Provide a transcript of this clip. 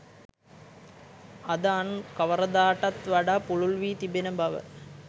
අද අන් කවරදාකටත් වඩා පුළුල් වී තිබෙන බව